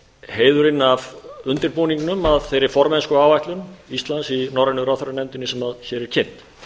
heiðurinn af undirbúningnum að þeirri formennskuáætlun íslands í norrænu ráðherranefndinni sem hér er kynnt